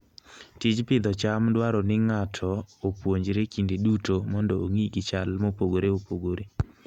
Tij pidho cham dwaro ni ng'ato opuonjre kinde duto mondo ong'i gi chal mopogore opogore.